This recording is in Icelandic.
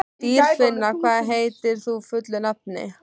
Dýrfinna, hvað heitir þú fullu nafni?